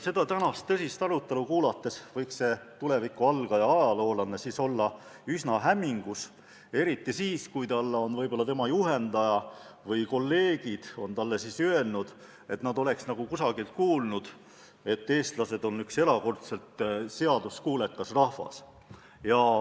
Tänast tõsist arutelu kuulates võiks see algaja tulevikuajaloolane olla üsna hämmingus, eriti siis, kui tema juhendaja või kolleegid on talle öelnud, et nad oleks nagu kusagilt kuulnud, et eestlased on üks erakordselt seaduskuulekas rahvas.